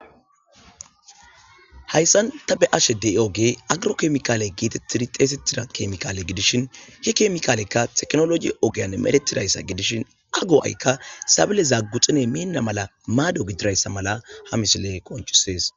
hayssan ta be ashe de7i oge agro kemikaale geetettidi xeesettida kemikaale gidishin hi kemikaalekka teknoloi ogeyan medetidayssa gidishin a go7aykka sabile zaagguxine minna mala maado gidirayssa mala ha misile qonchisees